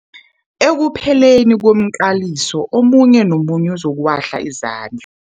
Ekupheleni komqaliso omunye nomunye uzokuwahla izandl